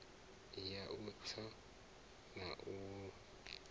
ya u tsa na u